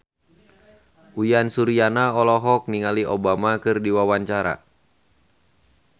Uyan Suryana olohok ningali Obama keur diwawancara